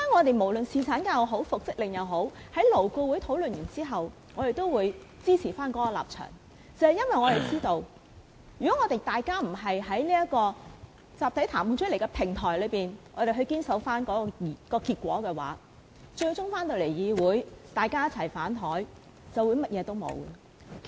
不論是侍產假也好、復職令也好，在勞顧會討論後，我們都會堅守我們的立場，因為我們知道，如果大家不堅守在集體談判的平台上取得的結果，在議會上"反檯"，便甚麼都沒有了。